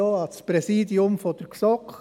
Ein Dank geht auch an das Präsidium der GSoK.